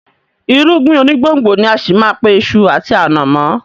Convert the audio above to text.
Irúgbìn onígbòǹgbò ni á ṣì má a pe iṣu àti ànàmọ́